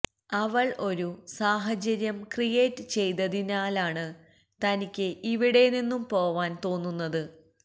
അവള് ഒരു സാഹചര്യം ക്രിയേറ്റ് ചെയ്തതിനാലാണ് തനിക്ക് ഇവിടെ നിന്നും പോവാന് തോന്നുന്നത്